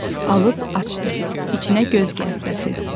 Alıb açdı, içinə göz gəzdirirdi.